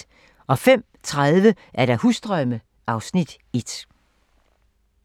05:30: Husdrømme (Afs. 1)